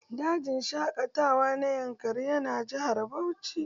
Dajin shaƙatawa na yankari yana jihar Bauchi